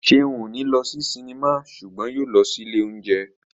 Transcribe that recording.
Ṣeun ò ní lọ sí sinimá ṣùgbọ́n yóò lọ sí ilé óúnjẹ